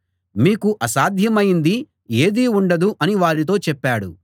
మీకు అసాధ్యమైంది ఏదీ ఉండదు అని వారితో చెప్పాడు